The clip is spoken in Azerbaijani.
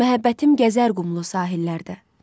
Məhəbbətim gəzər qumlu sahillərdə.